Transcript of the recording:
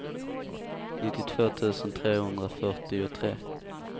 nittiotvå tusen trehundrafyrtiotre